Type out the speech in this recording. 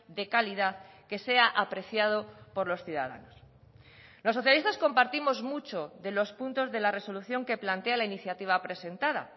de calidad que sea apreciado por los ciudadanos los socialistas compartimos mucho de los puntos de la resolución que plantea la iniciativa presentada